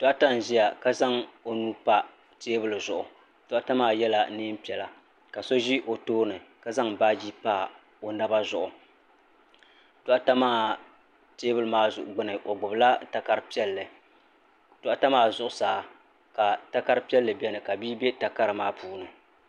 Doɣata n ʒia ka zaŋ o nuu pa teebuli zuɣu doɣata maa yela niɛn'piɛla ka so ʒi o tooni ka zaŋ baaji pa o naba zuɣu doɣata maa teebuli maa zuɣu gbini o gbibila takara piɛlli doɣata maa zuɣusaa ka takara piɛlli biɛni ka bia be takara maa zuɣu.